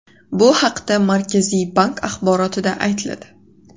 Bu haqda Markaziy bank axborotida aytiladi .